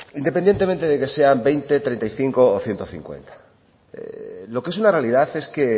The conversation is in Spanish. independientemente de que sean veinte treinta y cinco o ciento cincuenta lo que es una realidad es que